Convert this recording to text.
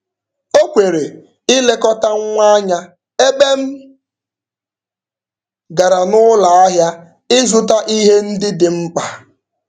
O kwere ịlekọta nwa anya ebe m gara n'ụlọahịa ịzụta ihe ndị dị mkpa.